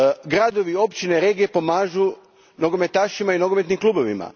Gradovi, općine, regije pomažu nogometašima i nogometnim klubovima.